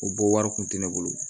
O bɔ wari kun tɛ ne bolo